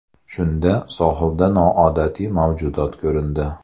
Shunda sohilda noodatiy mavjudot ko‘rindi.